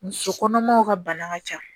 Muso kɔnɔmaw ka bana ka ca